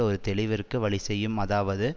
ஒரு தெளிவிற்கு வழிசெய்யும் அதாவது